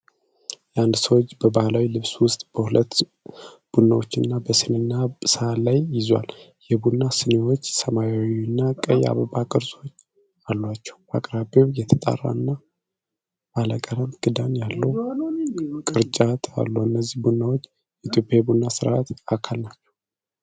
የአንድ ሰው እጅ በባህላዊ ልብስ ውስጥ ሁለት ቡናዎች በስኒና ሰሀን ላይ ይዟል። የቡና ስኒዎቹ ሰማያዊና ቀይ አበባ ቅርጾች አሏቸው። በአቅራቢያው የተጣራና ባለቀለም ክዳን ያለው ቅርጫት አሉ። እነዚህ ቡናዎች የኢትዮጵያ የቡና ስነስርአት አካል ናቸው?